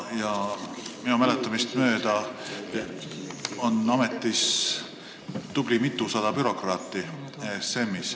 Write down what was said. Minu mäletamist mööda on ESM-is ametis tubli mitusada bürokraati.